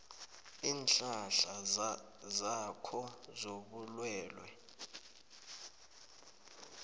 iinhlahla zakho zobulwelwe